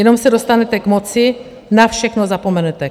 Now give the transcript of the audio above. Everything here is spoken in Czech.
Jenom se dostanete k moci, na všechno zapomenete.